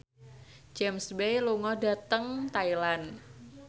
James Bay lunga dhateng Thailand